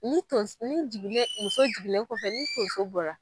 Ni tons, ni jiginnen, muso jiginnen kɔfɛ ni tonso bɔra.